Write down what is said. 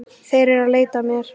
Þeir eru að leita að mér